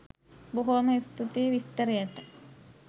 බොහෝම ස්තුතියි විස්තරයට